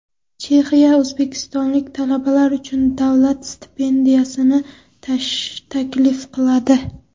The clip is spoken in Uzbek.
Chexiya o‘zbekistonlik talabalar uchun davlat stipendiyalarini taklif qiladi.